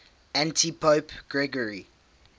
antipope gregory